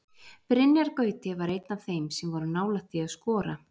Brynjar Gauti var einn af þeim sem voru nálægt því að skora.